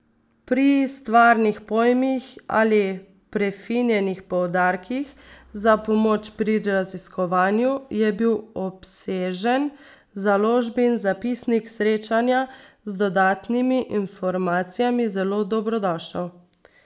Pri stvarnih pojmih ali prefinjenih poudarkih, za pomoč pri raziskovanju, je bil obsežen založbin zapisnik srečanja z dodatnimi informacijami zelo dobrodošel.